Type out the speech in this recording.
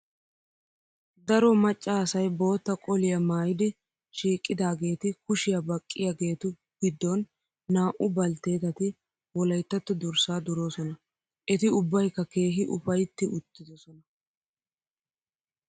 Daro macca asayi bootta qoliyaa maayidi shiiqidaageeti kushiyaa baqqiyaageetu giddon naa'u baltteetati wolayittatto durssa duroosona. Eti ubbayikka keehi ufayitti uttidosona.